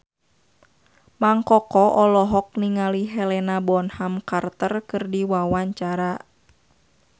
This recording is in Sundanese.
Mang Koko olohok ningali Helena Bonham Carter keur diwawancara